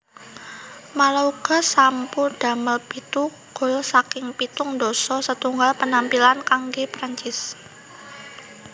Malouda sampu damel pitu gol saking pitung dasa setunggal penampilan kanggé Perancis